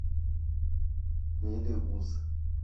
мелеуз